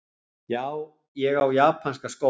Já, ég á japanska skó,!